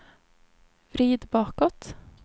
vrid bakåt